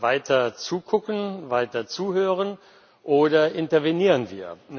Weiter zugucken, weiter zuhören, oder intervenieren wir?